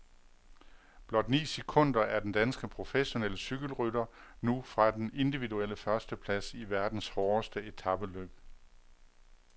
Blot ni sekunder er den danske professionelle cykelrytter nu fra den individuelle førsteplads i verdens hårdeste etapeløb.